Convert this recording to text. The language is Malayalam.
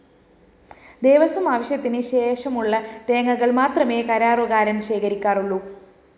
ദേവസ്വം ആവശ്യത്തിന് ശേഷമുള്ള തേങ്ങകള്‍ മാത്രമേ കരാറുകാരന്‍ ശേഖരിക്കാറുള്ളു